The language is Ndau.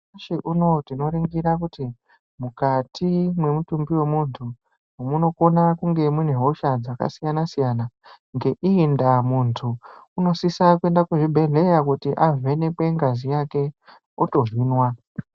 Nyamushi unou tinoningire kuti mukati memutumbi wemuntu munokona kunge munehosha dzakasiyanan siyana .Ngeii ndaa muntu unosisa kuenda kuzvibhehlera koningirwe ngazi yake ,otohinwa.